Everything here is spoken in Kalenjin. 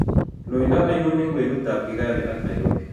Loiindo ainon eng' kwenutap kigali ak nairobi